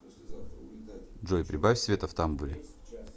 джой прибавь света в тамбуре